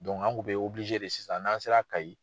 an kun bɛ de sisan n'an sera kayi,